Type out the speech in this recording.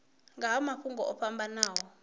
nga ha mafhungo o fhambanaho